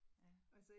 Ja